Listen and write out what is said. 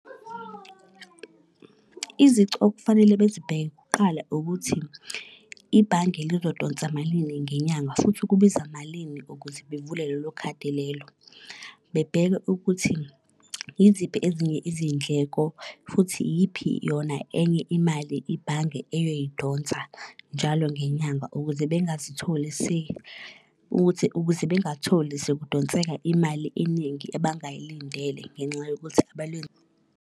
Izici okufanele bezibheke kuqala ukuthi ibhange lizodonsa malini ngenyanga futhi ukubiza malini ukuze bevule lelo khadi lelo. Bebheke ukuthi yiziphi ezinye izindleko, futhi iyiphi yona enye imali ibhange eyoyidonsa njalo ngenyanga, ukuze bengazitholi ukuthi ukuze bengatholi sekudonseka imali eningi abangayilindele ngenxa yokuthi .